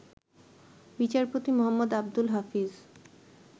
বিচারপতি মোহাম্মদ আব্দুল হাফিজ